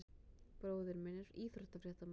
Bróðir minn er íþróttafréttamaður.